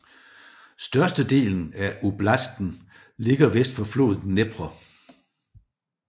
Størstedelen af oblasten ligger vest for floden Dnepr